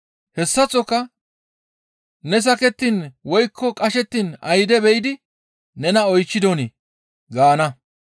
Hessaththoka ne sakettiin woykko qashettiin ayde be7idi nena oychchidonii?› gaana.